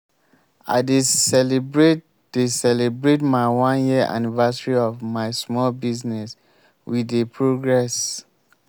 i dey celebrate dey celebrate my one year anniversary of my small business we dey progress.